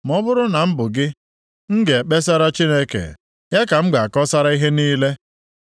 “Ma ọ bụrụ na m bụ gị, m ga-ekpesara Chineke; ya ka m ga-akọsara ihe niile.